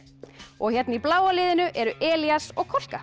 og hérna í bláa liðinu eru Elías og